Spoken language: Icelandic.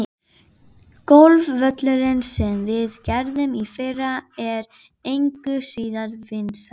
Golfvöllurinn, sem við gerðum í fyrra, er engu síður vinsæll.